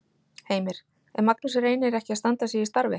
Heimir: Er Magnús Reynir ekki að standa sig í starfi?